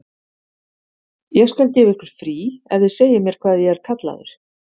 Ég skal gefa ykkur frí ef þið segið mér hvað ég er kallaður.